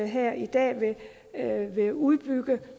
her i dag vil udbygge